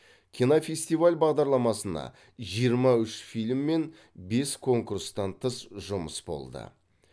кинофестиваль бағдарламасына жиырма үш фильм мен бес конкурстан тыс жұмыс болды